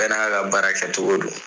Bɛɛ n'a ka baara kɛ cogo don.